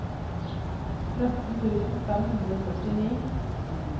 tretten tusen fem hundre og førtini